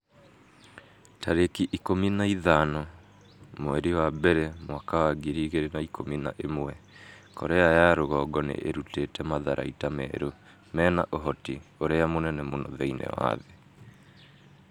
tarĩki ikũmi na ithano mweri wa mbere mwaka wa ngiri igĩrĩ na ikũmi na ĩmwe Korea ya rũgongo nĩ ĩrutĩte matharaita merũ mena ũhoti ũrĩa mũnene mũno thĩinĩ wa thĩ.'